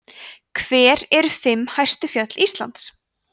hver eru fimm hæstu fjöll íslands